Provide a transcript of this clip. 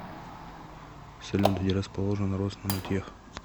салют где расположен роснанотех